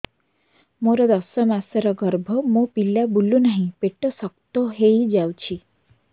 ମୋର ଦଶ ମାସର ଗର୍ଭ ମୋ ପିଲା ବୁଲୁ ନାହିଁ ପେଟ ଶକ୍ତ ହେଇଯାଉଛି